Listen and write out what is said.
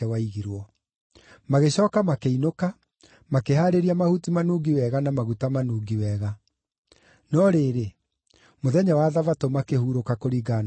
Magĩcooka makĩinũka, makĩhaarĩria mahuti manungi wega na maguta manungi wega. No rĩrĩ, mũthenya wa Thabatũ makĩhurũka kũringana na ũrĩa gwathanĩtwo.